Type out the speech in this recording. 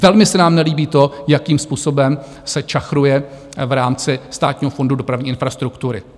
Velmi se nám nelíbí to, jakým způsobem se čachruje v rámci Státního fondu dopravní infrastruktury.